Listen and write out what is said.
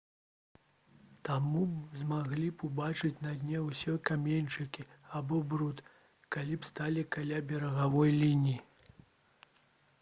таму вы б змаглі ўбачыць на дне ўсе каменьчыкі або бруд калі б сталі каля берагавой лініі